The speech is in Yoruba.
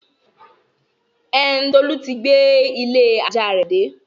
Ẹn, Tolu ti gbé ilé-ajá rẹ̀ dé.